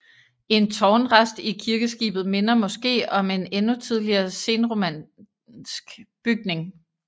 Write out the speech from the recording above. En tårnrest i kirkeskibet minder måske om en endnu tidligere senromansk bygning